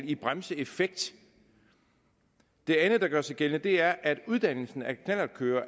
i bremseeffekt det andet der gør sig gældende er at uddannelsen af knallertkørere